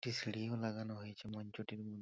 একটি সিঁড়িও লাগানো হয়েছে মঞ্চ টির ম--